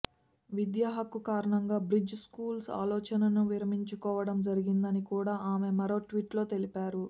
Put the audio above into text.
విద్యాహక్కు కారణంగా bridge schools ఆలోచనను విరమించుకోవడం జరిగిందని కూడా ఆమె మరో ట్వీట్లో తెలిపారు